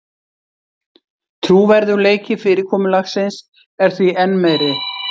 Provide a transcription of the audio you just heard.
Trúverðugleiki fyrirkomulagsins er því enn meiri